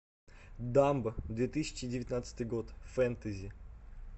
дамбо две тысячи девятнадцатый год фэнтези